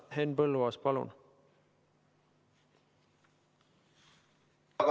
Henn Põlluaas, palun!